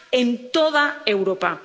en toda Europa.